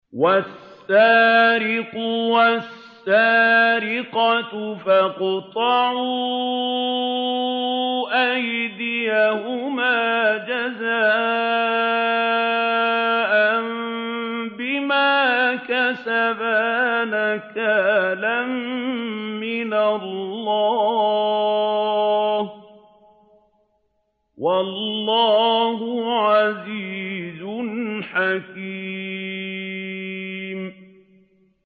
وَالسَّارِقُ وَالسَّارِقَةُ فَاقْطَعُوا أَيْدِيَهُمَا جَزَاءً بِمَا كَسَبَا نَكَالًا مِّنَ اللَّهِ ۗ وَاللَّهُ عَزِيزٌ حَكِيمٌ